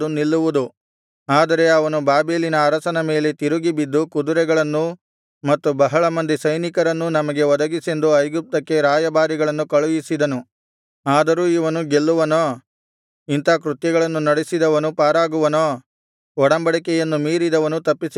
ಆದರೆ ಅವನು ಬಾಬೆಲಿನ ಅರಸನ ಮೇಲೆ ತಿರುಗಿಬಿದ್ದು ಕುದುರೆಗಳನ್ನೂ ಮತ್ತು ಬಹಳ ಮಂದಿ ಸೈನಿಕರನ್ನೂ ನಮಗೆ ಒದಗಿಸೆಂದು ಐಗುಪ್ತಕ್ಕೆ ರಾಯಭಾರಿಗಳನ್ನು ಕಳುಹಿಸಿದನು ಆದರೂ ಇವನು ಗೆಲ್ಲುವನೋ ಇಂಥಾ ಕೃತ್ಯಗಳನ್ನು ನಡೆಸಿದವನು ಪಾರಾಗುವನೋ ಒಡಂಬಡಿಕೆಯನ್ನು ಮೀರಿದವನು ತಪ್ಪಿಸಿಕೊಂಡಾನೇ